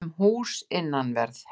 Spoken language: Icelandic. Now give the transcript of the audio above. um hús innanverð.